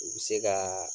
U bɛ se ka